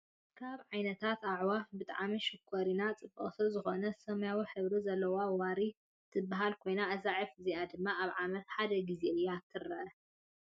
ካብ ዓይነታት ኣዕዋፍ ብጣዕሚ ሽኮሪና ፣ ፅብቅቲ ዝኮነ ሰማያዊ ሐብሪ ዘለዋ ዋሪ ትበሃል ኮይና እዛ ዕፊ እዚ ድማ ኣብ ዓመት ሓደ ግዜ እያ ትርኤ።